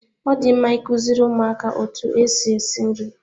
Ọ dị mma ikuziri ụmụaka otu esi esi nri.